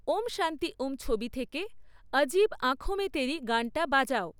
ওম শান্তি ওম ছবি থেকে আজিব আঁঁখো মে তেরি গানটা বাজাও